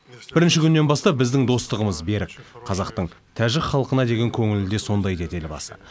бірінші күннен бастап біздің достығымыз берік қазақтың тәжік халқына деген көңілі де сондай деді елбасы